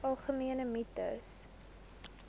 algemene mites